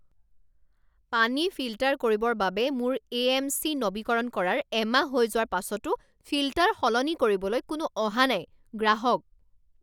পানী ফিল্টাৰ কৰিবৰ বাবে মোৰ এ এম চি নৱীকৰণ কৰাৰ এমাহ হৈ যোৱাৰ পাছতো ফিল্টাৰ সলনি কৰিবলৈ কোনো অহা নাই গ্ৰাহক